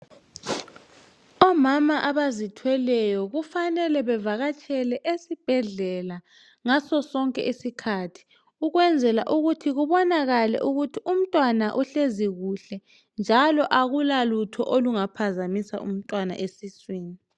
omma abazithweleyo kufanele bavakatshele esibhedlela ngasosonke sikhathi ukwenzela ukuthi kubonakale ukuthi umntwana uhleli kuhle njalo akulalutho olungaphazamisa umntwana esiswini